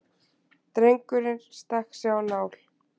Drengur stakk sig á nál